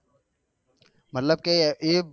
મતલબ કે એ